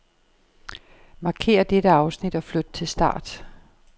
Markér dette afsnit og flyt til start.